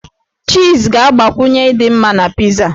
Chiiz ga-agbakwunye ịdị mma na pizaa.